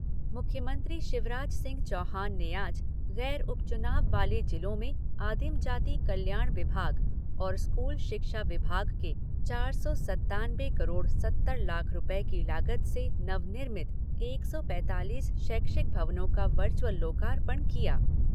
मुख्यमंत्री शिवराज सिंह चौहान ने आज गैर उपचुनाव वाले जिलों में आदिम जाति कल्याण विभाग और स्कूल शिक्षा विभाग के चार सौ सत्तानवे करोड़ सत्तर लाख रुपये की लागत से नव निर्मित एक सौ पैतालीस शैक्षिक भवनों का वर्चुअल लोकार्पण किया।